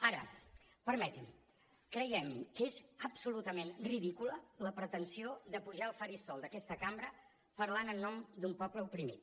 ara permeti’m creiem que és absolutament ridícula la pretensió de pujar al faristol d’aquesta cambra parlant en nom d’un poble oprimit